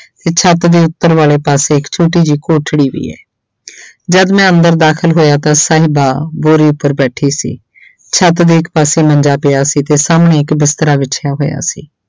ਤੇ ਛੱਤ ਦੇ ਉੱਪਰ ਵਾਲੇ ਪਾਸੇ ਇੱਕ ਛੋਟੀ ਜਿਹੀ ਕੋਠੜੀ ਵੀ ਹੈ ਜਦ ਮੈਂ ਅੰਦਰ ਦਾਖਲ ਹੋਇਆ ਤਾਂ ਸਾਹਿਬਾ ਬੋਰੀ ਉੱਪਰ ਬੈਠੀ ਸੀ ਛੱਤ ਦੇ ਇੱਕ ਪਾਸੇ ਮੰਜਾ ਪਿਆ ਸੀ ਤੇ ਸਾਹਮਣੇ ਇੱਕ ਬਿਸਤਰਾ ਵਿਛਿਆ ਹੋਇਆ ਸੀ।